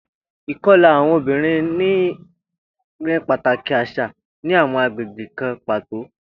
Ikọla awọn obinrin ni pataki aṣa ni awọn agbegbe kan pato.